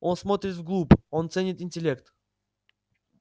он смотрит вглубь он ценит интеллект